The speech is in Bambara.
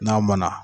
N'a mɔnna